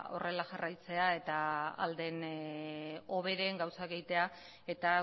horrela jarraitzea eta ahal den hoberen gauzak egitea eta